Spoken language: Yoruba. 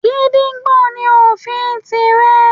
Gídígbò ní òfin ti rẹ̀.